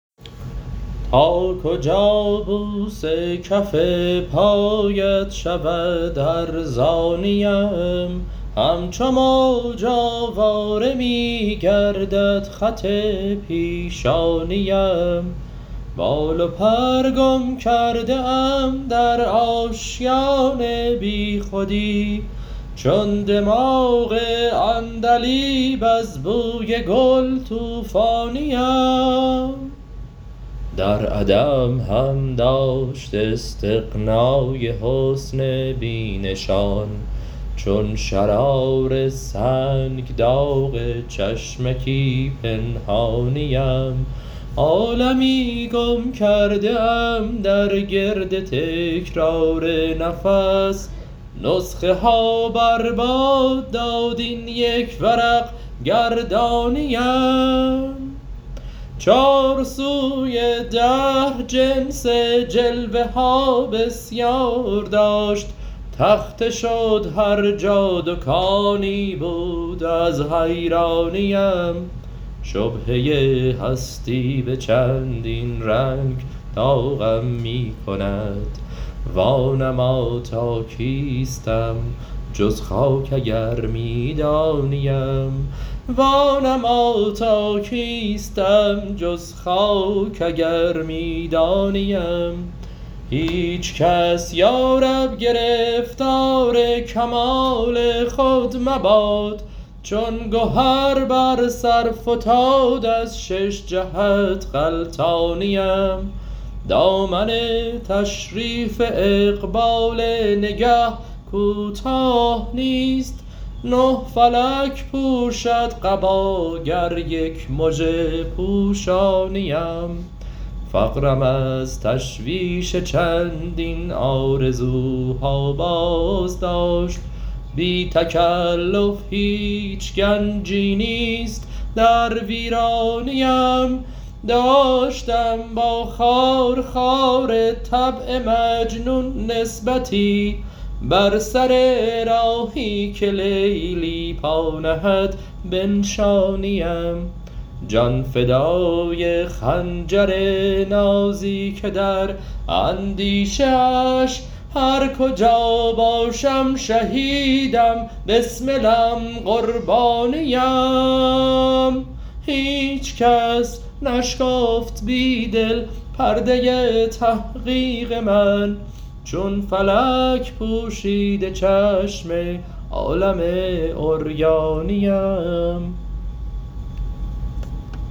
تا کجا بوس کف پایت شود ارزانی ام همچو موج آواره می گردد خط پیشانی ام بال و پر گم کرده ام در آشیان بیخودی چون دماغ عندلیب از بوی گل توفانی ام در عدم هم داشت استغنای حسن بی نشان چون شرار سنگ داغ چشمکی پنهانی ام عالمی گم کرده ام در گرد تکرار نفس نسخه ها بر باد داد این یک ورق گردانی ام چار سوی دهر جنس جلوه ها بسیار داشت تخته شد هر جا دکانی بود از حیرانی ام شبهه هستی به چندین رنگ داغم می کند وانما تا کیستم جز خاک اگر می دانی ام هیچ کس یارب گرفتار کمال خود مباد چون گهر بر سر فتاد از شش جهت غلتانی ام دامن تشریف اقبال نگه کوتاه نیست نه فلک پوشد قبا گر یک مژه پوشانی ام فقرم از تشویش چندین آرزوها باز داشت بی تکلف هیچ گنجی نیست در ویرانی ام داشتم با خار خار طبع مجنون نسبتی بر سر راهی که لیلی پا نهد بنشانی ام جان فدای خنجر نازی که در اندیشه اش هر کجا باشم شهیدم بسملم قربانی ام هیچ کس نشکافت بیدل پرده تحقیق من چون فلک پوشیده چشم عالم عریانی ام